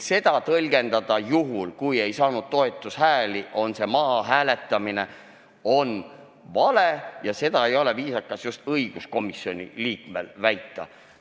Seda tõlgendada nii, et juhul, kui ei saanud piisavalt palju toetushääli, siis on see mahahääletamine, on vale ja seda ei ole viisakas õiguskomisjoni liikmel väita.